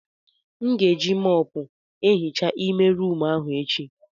M ga-eji mọpu ehicha ime rumụ ahụ echi.